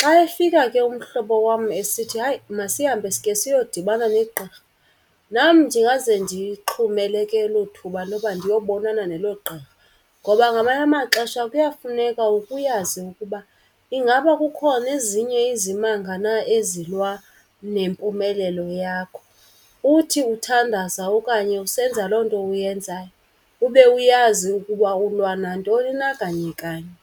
Xa efika ke umhlobo wam esithi hayi masihambe sike siyodibana negqirha, nam ndingaze ndiyixhumele ke elo thuba loba ndiyobonana nelo gqirha. Ngoba ngamanye amaxesha kuyafuneka uke uyazi ukuba ingaba kukhona ezinye izimanga na ezilwa nempumelelo yakho. Uthi uthandaza okanye usenza loo nto uyenzayo ube uyazi ukuba ulwa nantoni na kanye kanye.